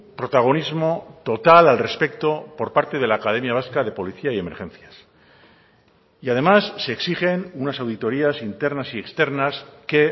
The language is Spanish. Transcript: protagonismo total al respecto por parte de la academia vasca de policía y emergencias y además se exigen unas auditorías internas y externas que